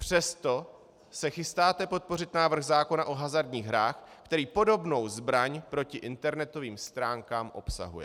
Přesto se chystáte podpořit návrh zákona o hazardních hrách, který podobnou zbraň proti internetovým stránkám obsahuje.